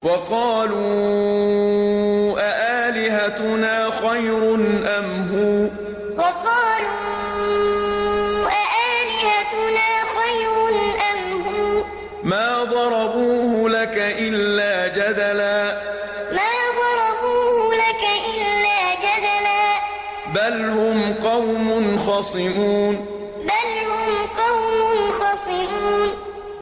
وَقَالُوا أَآلِهَتُنَا خَيْرٌ أَمْ هُوَ ۚ مَا ضَرَبُوهُ لَكَ إِلَّا جَدَلًا ۚ بَلْ هُمْ قَوْمٌ خَصِمُونَ وَقَالُوا أَآلِهَتُنَا خَيْرٌ أَمْ هُوَ ۚ مَا ضَرَبُوهُ لَكَ إِلَّا جَدَلًا ۚ بَلْ هُمْ قَوْمٌ خَصِمُونَ